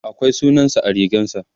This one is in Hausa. akwai sunansa a rigarsa